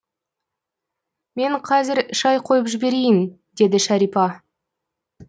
мен қазір шай қойып жіберейін деді шәрипа